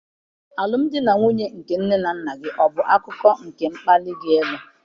Alụmdi na nwunye nne na nna gị ọ bụ akụkụ nke mkpali gị ịlụ?